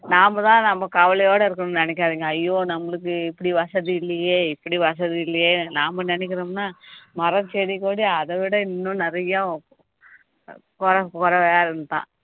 நாமதான் நம்ம கவலையோட இருக்கணும்ன்னு நினைக்காதீங்க ஐயோ நம்மளுக்கு இப்படி வசதி இல்லையே இப்படி வசதி இல்லையே நாம நினைக்கிறோம்னா மரம், செடி, கொடி, அதவிட இன்னும் நிறையா குறை